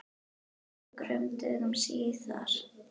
Nokkrum dögum síðar.